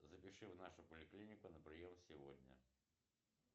запиши в нашу поликлинику на прием сегодня